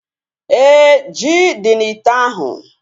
Éè, ji dị n'ite ahu